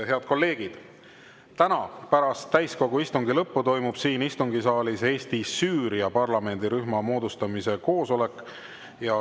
Head kolleegid, täna pärast täiskogu istungi lõppu toimub siin istungisaalis Eesti-Süüria parlamendirühma moodustamise koosolek.